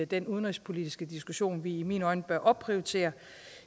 den udenrigspolitiske diskussion vi i mine øjne bør opprioritere